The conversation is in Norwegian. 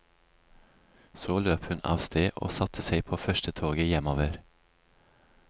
Så løp hun av sted og satte seg på første toget hjemover.